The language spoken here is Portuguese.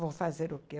Vou fazer o quê?